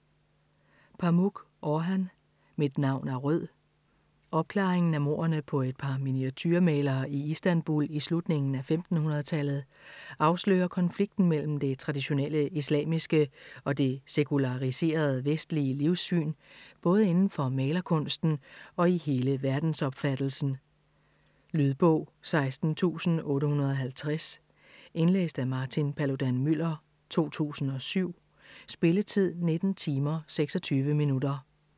Pamuk, Orhan: Mit navn er Rød Opklaringen af mordene på et par miniaturemalere i Istanbul i slutningen af 1500-tallet afslører konflikten mellem det traditionelle islamiske og det sekulariserede vestlige livssyn både inden for malerkunsten og i hele verdensopfattelsen. Lydbog 16850 Indlæst af Martin Paludan-Müller, 2007. Spilletid: 19 timer, 26 minutter.